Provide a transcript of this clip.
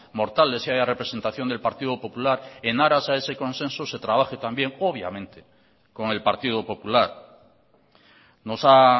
mortales y haya representación del partido popular en aras a ese consenso se trabaje también obviamente con el partido popular nos ha